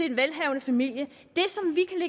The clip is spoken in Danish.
den velhavende familie